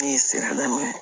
Ne ye sira la